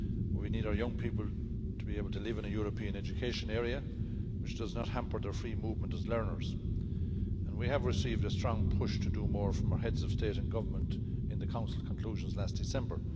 We need our young people to be able to live in a European education area, which does not hamper their free movement as learners, and we have received a strong push to do more from our Heads of State and Government in the Council conclusions last December.